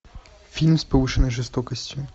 фильм с повышенной жестокостью